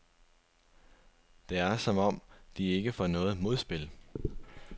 Det er, som om de ikke får noget modspil.